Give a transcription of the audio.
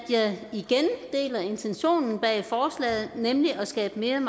igen deler intentionen bag forslaget nemlig at skabe mere